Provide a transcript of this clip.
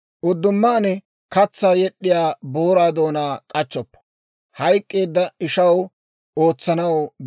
«Uddumaan katsaa yed'd'iyaa booraa doonaa k'achchoppa.